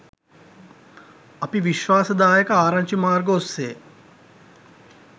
අපි විශ්වාසදායක ආරංචි මාර්ග ඔස්සේ